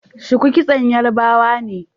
Shuku kitson yarbawa ne